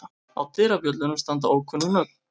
Á dyrabjöllunum standa ókunnug nöfn.